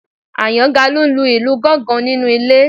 Àyàngalú ń lu ìlù gángan nínú ilé